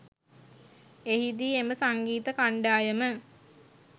එහිදී එම සංගීත කන්ඩායම